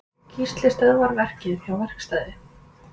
Gísli stöðvar verkið hjá verkstæði